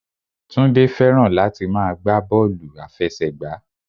Túndé fẹ́ràn láti máa gbá bọ́ọ̀lù àfẹsẹ̀gbá